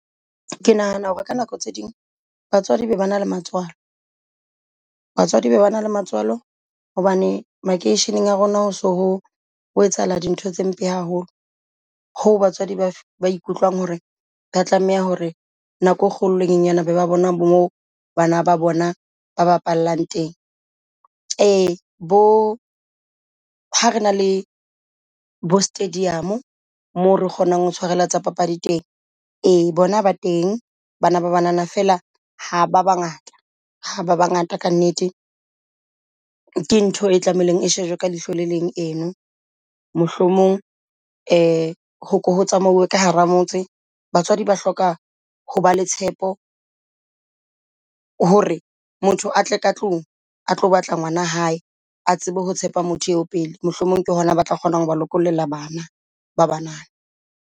Ke nahana hore ka nako tse ding batswadi ba be ba na la matswalo. Batswadi ba be ba na la matswalo, hobane makeisheneng a rona ho so ho etsahala dintho tse mpe haholo ho batswadi ba ba hore ba tlameha hore nako e kgolonyana ba bona moo bana ba bona ba bapallang teng. Ee bo ha rena le bo stadium, moo re kgonang ho tshwarella tsa papadi teng e bona ba teng bana ba banana fela ha ba bangata ha ba bangata ka nnete. Ke ntho e tlameileng e shejwe ka leihlo le leng eno mohlomong ho ko ho tsamaye ka hara Motse. Batswadi ba hloka ho ba le tshepo hore motho a tle ka tlung a tlo batla ngolwana hae a tsebe ho tshepa motho eo pele mohlomong ke hona ba tla kgona ho ba lokollela bana ba banana.